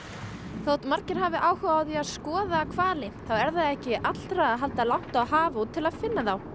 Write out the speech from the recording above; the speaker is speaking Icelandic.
þótt margir hafi áhuga á að skoða hvali þá er það ekki allra að halda langt á haf út til að finna þá